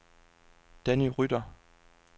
Danny Rytter